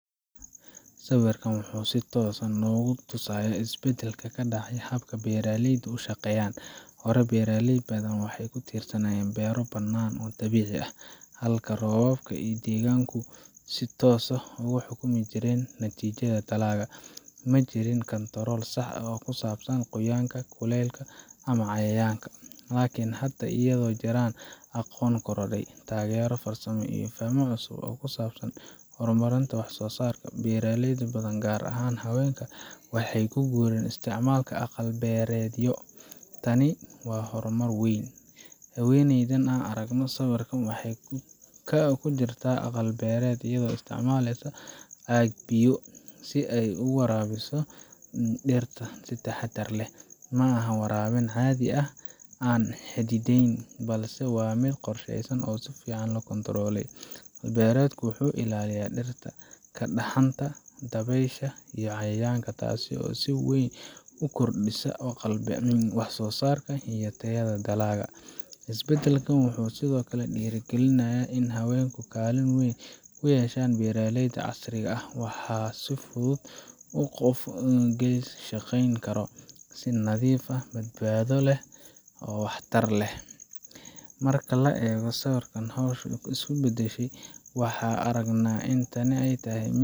Sawirkan wuxuu si toos ah noogu tusayaa isbeddelka ka dhacay habka beeraleydu u shaqeeyaan. Hore, beeraley badan waxay ku tiirsanaayeen beero bannaan oo dabiici ah, halkaas oo roobka iyo deegaanku si toos ah u xukumi jireen natiijada dalagga. Ma jirin kantarool sax ah oo ku saabsan qoyaanka, kuleylka, ama cayayaanka. Laakiin hadda, iyadoo ay jiraan aqoon korodhay, taageero farsamo, iyo faham cusub oo ku saabsan horumarinta wax soosaarka, beeraley badan gaar ahaan haweenka waxay u guureen isticmaalka aqal-beereedyo. Tani waa horumar weyn. Haweeneyda aan aragno sawirka, waxay ku jirtaa aqal beereed, iyadoo isticmaaleysa dhalo biyo si ay u waraabiso dhirta si taxaddar leh. Ma aha waraabin caadi ah oo aan xadidnayn, balse waa mid qorsheysan oo si fiican loo kantaroolay. Aqal-beereedku wuxuu ilaaliyaa dhirta ka dhaxanta, dabaysha, iyo cayayaanka, taasoo si weyn u kordhisa wax soosaarka iyo tayada dalagga. Isbeddelkan wuxuu sidoo kale dhiirrigeliyay in haweenku kaalin weyn ku yeeshaan beeralayda casriga ah. Waxaa fudud in qof keligii shaqayn karo, si nadiif ah, badbaado leh, oo waxtar leh. Marka la eego sida ay hawshu isu beddeshay, waxaan aragnaa in tani tahay.